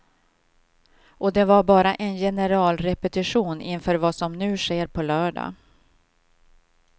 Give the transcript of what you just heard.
Och det var bara en generalrepetition inför vad som nu sker på lördag.